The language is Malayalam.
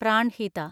പ്രാൺഹിത